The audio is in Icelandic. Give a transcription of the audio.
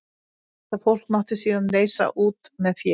Þetta fólk mátti síðan leysa út með fé.